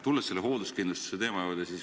Tulen ka selle hoolduskindlustuse teema juurde.